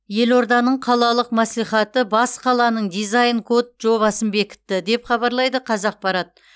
елорданың қалалық мәслихаты бас қаланың дизайн код жобасын бекітті деп хабарлайды қазақпарат